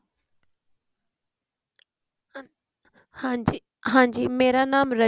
ਹਾਂਜੀ ਮੇਰਾ ਨਾਂਮ